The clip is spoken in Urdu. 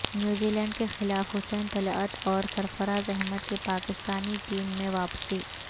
نیوزی لینڈ کے خلاف حسین طلعت اور سرفراز احمد کی پاکستانی ٹیم میں واپسی